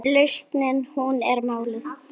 Lausnin hún er málið.